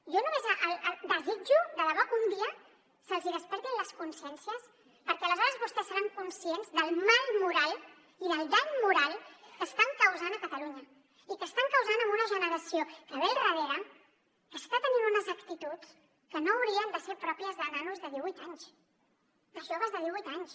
jo només desitjo de debò que un dia se’ls hi despertin les consciències perquè aleshores vostès seran conscients del mal moral i del dany moral que estan causant a catalunya i que estan causant a una generació que ve al darrere que està tenint unes actituds que no haurien de ser pròpies de nanos de divuit anys de joves de divuit anys